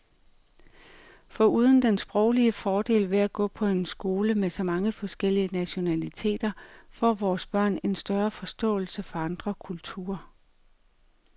Foruden den sproglige fordel ved at gå på en skole med så mange forskellige nationaliteter får vores børn en større forståelse for andre kulturer.